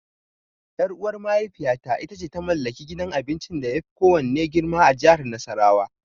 Ƴar'uwar mahaifiyata ita ce ta mallaki gidan abincin da yafi kowanne girma a jihar Nasarawa.